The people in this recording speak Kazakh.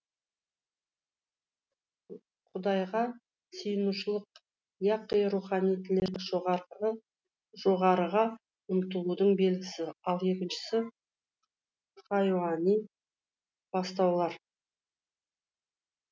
құдайға сиынушылық яқи рухани тілек жоғарыға ұмтылудың белгісі ал екіншісі хайуани бастаулар